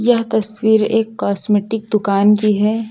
यह तस्वीर एक कॉस्मेटिक दुकान की है।